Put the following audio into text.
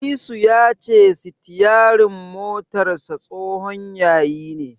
Disu ya ce sitiyarin motarsa tsohon yayi ne.